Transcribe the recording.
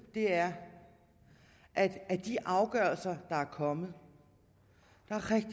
er at af de afgørelser der er kommet